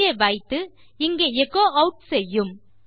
இங்கே வைத்து இங்கே எச்சோ ஆட் செய்யும்